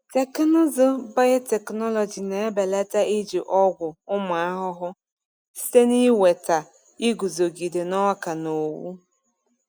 Teknụzụ biotechnology na-ebelata iji ọgwụ ụmụ ahụhụ site n’iweta iguzogide n’ọka na owu.